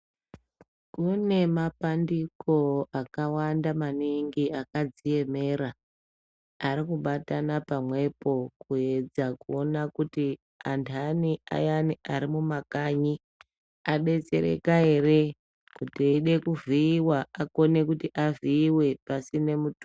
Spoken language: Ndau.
Kune mapandiko akawanda maningi akadziemera arikubatanapamwepo kuedza kuona kuti antani ayani arimumakanyi adetsereka ere kuti eide kuvhiiwa akone kuti avhiiwe pasine mutoso.